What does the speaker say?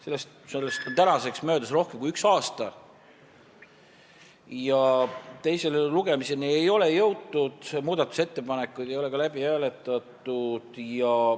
Sellest on tänaseks möödas rohkem kui üks aasta ja teise lugemiseni ei ole jõutud, muudatusettepanekuid ei ole ka läbi hääletatud.